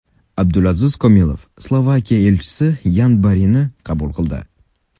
Abdulaziz Komilov Slovakiya elchisi Yan Borini qabul qildi.